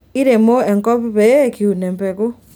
iremo enkop pee kiun empeku